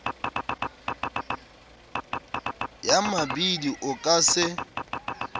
ya mabidi o ka se